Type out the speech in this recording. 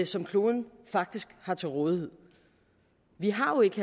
som kloden faktisk har til rådighed vi har jo ikke